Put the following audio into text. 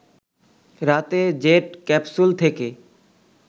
রাতে jet capsule থেকে